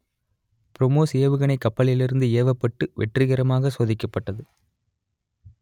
பிரமோஸ் ஏவுகணை கப்பலிலிருந்து ஏவப்பட்டு வெற்றிகரமாகச் சோதிக்கப்பட்டது